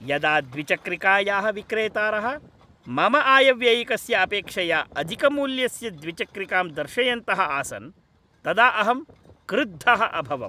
यदा द्विचक्रिकायाः विक्रेतारः मम आयव्ययिकस्य अपेक्षया अधिकमूल्यस्य द्विचक्रिकां दर्शयन्तः आसन् तदा अहं क्रुद्धः अभवम्।